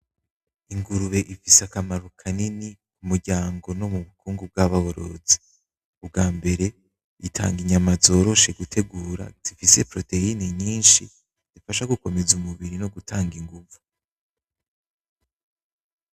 Ingurube ifise akamaro kanini m'umuryango no mu nyungu nzaborozi, ubwambere itanga inyama zoroshe gutegura zifise proteine nyinshi zifasha gukomeza umubiri no gutanga inguvu.